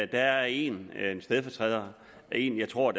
der er en stedfortræder en jeg tror